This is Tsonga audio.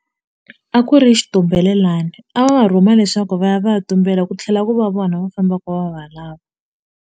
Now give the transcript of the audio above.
A ku ri xitumbelelani a va va rhuma leswaku va ya va ya tumbela ku tlhela ku va vona va fambaku va va lava.